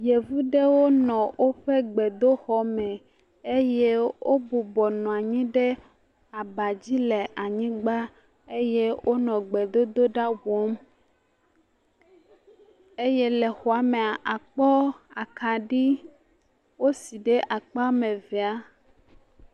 Yevu aɖewo nɔ woƒe gbedoxɔ me eye wobɔbɔ nɔ anyi ɖe woƒe abadzi le anyigbã eye wonɔ gbedodoɖa wɔm eye le xɔamea akpɔ akaɖi wosi ɖe akpa evea